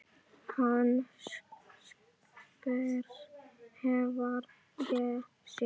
Hann spyr hvar ég sé.